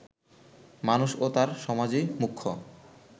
মানুষ ও তার সমাজই মুখ্য